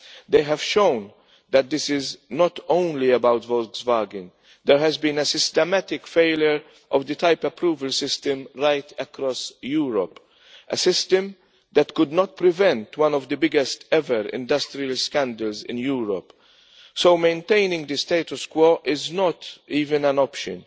They have shown that this is not only about Volkswagen. There has been a systematic failure of the type approval system right across Europe a system that could not prevent one of the biggest ever industrial scandals in Europe. So maintaining the status quo is not even an option